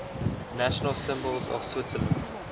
national symbols of switzerland